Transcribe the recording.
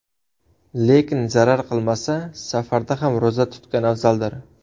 Lekin zarar qilmasa, safarda ham ro‘za tutgan afzaldir.